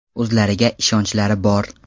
O‘zlariga ishonchlari bor!